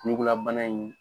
Ɲugulabana in